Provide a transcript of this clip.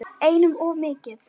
Einum of mikið.